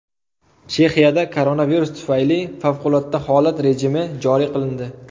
Chexiyada koronavirus tufayli favqulodda holat rejimi joriy qilindi.